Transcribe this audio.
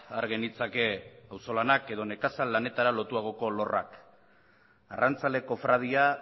har genitzake auzolanak edo nekazal lanetara lotuagoko lorrak arrantzale kofradia